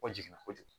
Kɔ jiginna kojugu